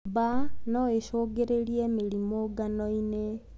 Mbaa noĩcungĩrĩre mĩrimũ nganoinĩ.